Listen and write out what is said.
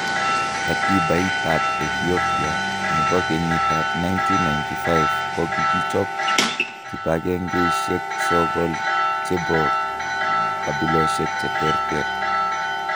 Katibait ab Ethiopa nebo kenyit ab 1995 kogichob kibangengeisiek sogol chebo kabilosiek cheterter.